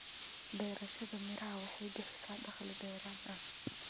Beerashada miraha waxay bixisaa dakhli dheeraad ah.